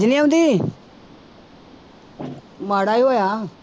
ਨੀ ਆਉਂਦੀ ਮਾੜਾ ਹੀ ਹੋਇਆ।